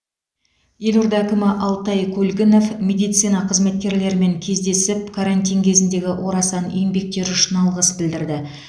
елорда әкімі алтай көлгінов медицина қызметкерлерімен кездесіп карантин кезіндегі орасан еңбектері үшін алғыс білдірді